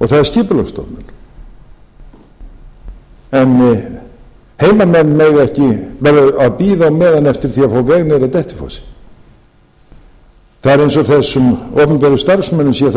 og það er skipulagsstofnun en heimamenn verða að bíða á meðan eftir því að fá veg niður að dettifossi